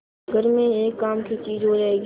घर में एक काम की चीज हो जाएगी